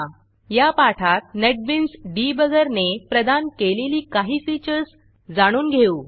या पाठात नेटबीन्स Debuggerनेटबिन्स डिबगर ने प्रदान केलेली काही फीचर्स जाणून घेऊ